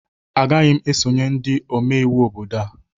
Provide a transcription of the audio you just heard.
Agaghị m esonyere ndị omeiwu obodo a